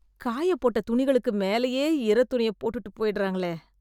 காயப்போட்ட துணிகளுக்கு மேலேயே ஈரத்துணிய போட்டுட்டு போய்டறாங்களே.